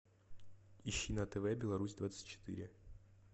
ищи на тв беларусь двадцать четыре